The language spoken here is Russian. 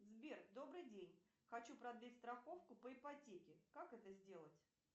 сбер добрый день хочу продлить страховку по ипотеке как это сделать